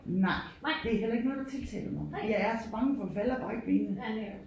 Nej det er heller ikke noget der tiltaler mig fordi jeg er så bange for at falde og brække benet